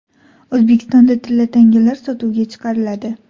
O‘zbekistonda tilla tangalar sotuvga chiqariladi.